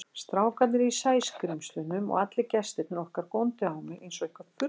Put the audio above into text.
Strákarnir í Sæskrímslunum og allir gestirnir okkar góndu á mig einsog eitthvert furðuverk.